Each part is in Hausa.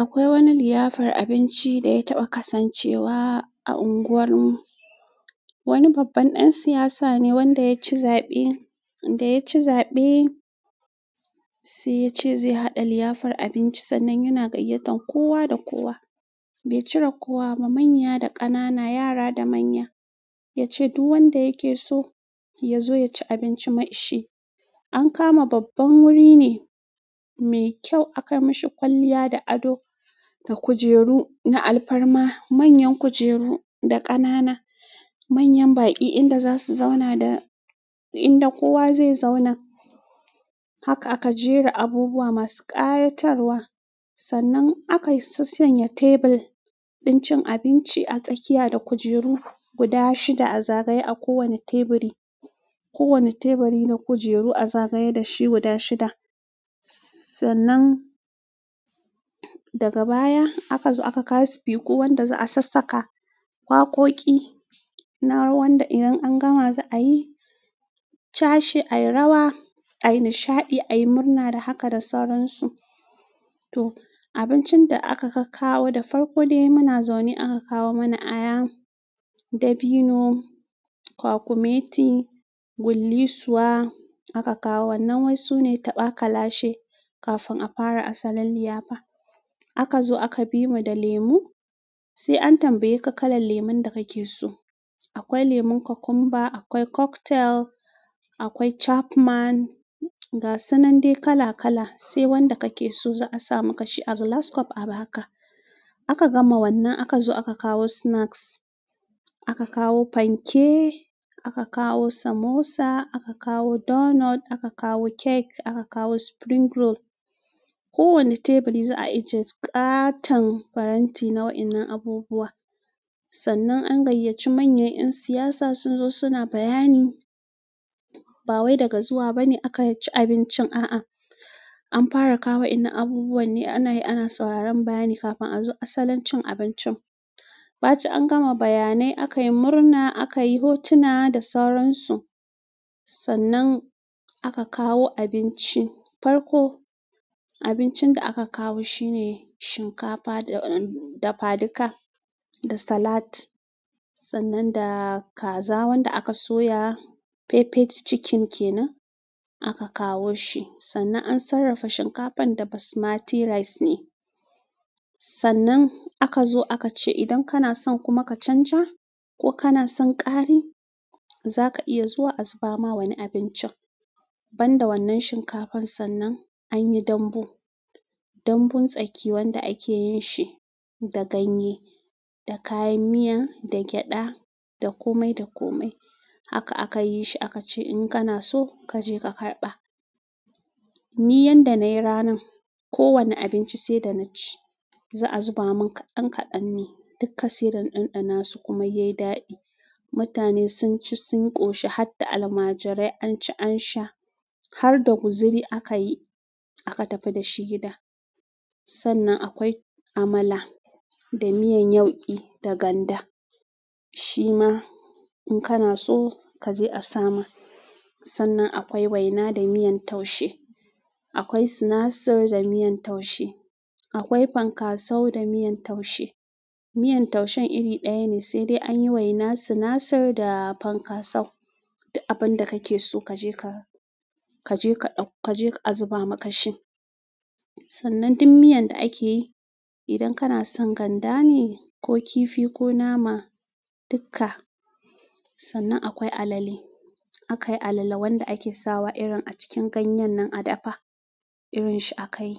Akwai wani liyafar abinci da ya taɓa kasancewa a unguwar mu. Wani babban ɗan siyasa ne wanda yaci zaɓe, da yaci zaɓe sai yace zai haɗa liyafar abinci sannan yana gayyatan kowa da kowa. Bai cire kowa da kowa ba manya da ƙanana yara da manya yace duk wanda yake so ya zo ya ci abinci mai shi. An kama babban wuri ne mai kyau aka mishi kwalliya da ado. Da kujeru na alfarma, manyan kujeru da ƙanana, manyan baƙi inda za su zauna da inda kowa zai zauna. Haka aka jera abubuwa masu ƙayatarwa sannan aka sassanya tebur ɗin cin abinci a tsakiya da kujeru guda shida a zagaye a kowanne teburi. Kowane teburi na kujeru a zagaye da shi guda shida. Sannan daga baya aka zo aka kawo sifiku wanda za a sassaka waƙoƙi na rawar da idan an gama za'a yi cashe, a yi rawa, a yi nishaɗi, a yi murna dai haka da sauran su. To abincin da aka kawo da farko dai muna zaune aka kawo mana aya, dabino, kwakumeti, gullisuwa aka kawo. Wannan wasu ne taɓa kalashe kafin a fara asalin liyafa. Aka zo aka bi mu da lemu. Sai an tambaye ka kalan lemun da kake so. Akwai lemon kokumba, akwai cocktail, akwai Chapman ga sunan dai kala kala. Sai wanda kake so za'a sa maka shi a glass cup a ba ka. Aka gama wannan aka zo aka kawo snacks. Aka kawo fanke, aka kawo samosa, aka kawo donut, aka kawo cake, aka kawo spring roll. Kowane teburi za a ijiye ƙaton faranti na waɗannan abubuwan. Sannan an gayyaci manyan ƴan siyasa sun zo suna bayani. Ba wai daga zuwa bane aka ci abincin a'a. An fara kawo inda abubuwa ne ana yi, ana sauraron bayani kafin a zo asalin cin abincin. Ba cin an gama bayanai, aka yi murna, aka yi hotuna da sauran su. Sannan aka kawo abinci. Farko abincin da aka kawo shine shinkafa da fadika da salat. Sannan da kaza wanda aka soya peppered chicken kenan aka kawo shi. Sannan an sarrafa shinkafan da basmati rice ne. S. Sannan aka zo aka ce idan kana son kuma ka canja ko kana son ƙari, za ka iya zuwa a zuba ma wani abincin. Bamda wannan shinkafan sannan an yi dambu dambun tsaki wanda ake yin shi da ganye, da kayan miya, da gyaɗa, da komai da komai. Haka aka yi shi aka ce in kana so kaje ka karɓa. Ni yanda nayi ranan ko wane abinci sai da na ci. Za a zuba min kaɗan kaɗan ne. Dukkan sai dana ɗanɗana su kuma yayi daɗi. Mutane sun ci sun ƙoshi har da almajirai an ci an sha. Har da guziri aka yi aka tafi da shi gida. Sannan akwai amala, da miyan yauƙi, da ganda. Shima in kana so kaje a sama. Sannan akwai waina da miyan taushe. Akwai sinasir da miyan taushe. Akwai fankasau da miyan taushe. Miyar taushen iri ɗaya ne sai dai anyi waina, sinasir da fankasau. Duk abin da kake so kaje ka-kaje ka-kaje ka a zuba maka shi. Sannan duk miyan da ake yi idan kana son ganda ne ko kifi ko nama, dukka. Sannan akwai alale. Akayi alala wanda ake sawa irin a cikin ganyen nan a dafa. Irin shi akayi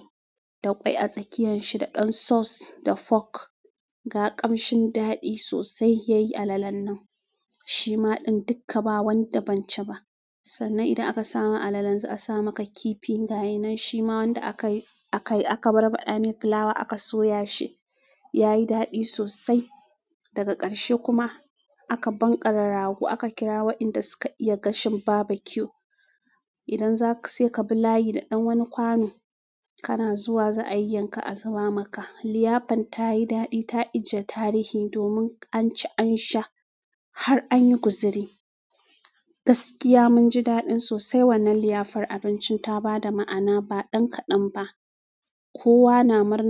da ƙwai a tsakiyanshi da ɗan sauce da fork. Ga ƙamshin daɗi sosai yayi alalan nan shima ɗin duka ba wanda ban ci ba. Sannan idan aka samu alalan za a sa maka kifi ga yanan shima wanda aka yi-akai aka barbaɗa mai fulawa aka soya shi. Yayi daɗi sosai. Daga ƙarshe kuma aka banƙara rago aka kira waɗanda suka iya gashin barbecue. Idan zaka sai ka bi layi da ɗan wani kwano kana zuwa za a yanka a zuba maka. Liyafan ta yi daɗi ta ijiye tarihi domin an ci an sha har an yi guziri. Gaskiya mun ji daɗin sosai wannan liyafar abincin ta ba da ma'ana ba ɗan kaɗan ba. Kowa na mar.